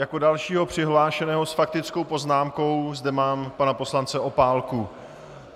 Jako dalšího přihlášeného s faktickou poznámkou zde mám pana poslance Opálku.